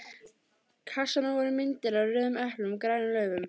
kassanum voru myndir af rauðum eplum og grænum laufum.